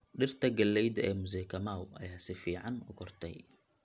Dhirta galleyda ee Mzee Kamau ayaa si fiican u kortay.